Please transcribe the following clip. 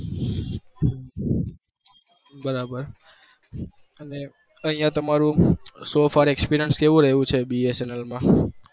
બરાબર અહિયાં તમારુ experiance કેવું રહ્યું છ bsnl